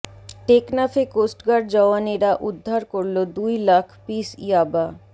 টেকনাফে coast guard জওয়ানেরা উদ্ধার করল দুই লাখ পিস ইয়াবা